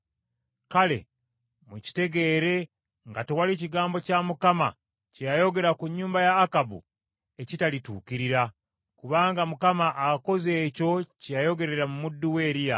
Kale mukitegeere nga tewali kigambo kya Mukama , kye yayogera ku nnyumba ya Akabu ekitalituukirira, kubanga Mukama akoze ekyo kye yayogerera mu muddu we Eriya.”